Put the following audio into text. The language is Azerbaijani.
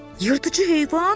Yırtıcı heyvan?